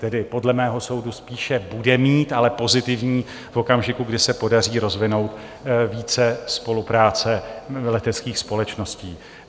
Tedy - podle mého soudu - spíše bude mít, ale pozitivní v okamžiku, kdy se podaří rozvinout více spolupráce leteckých společností.